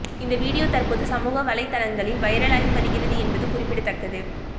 இந்த வீடியோ தற்போது சமூக வலைதளங்களில் வைரலாகி வருகிறது என்பது குறிப்பிடத்தக்கது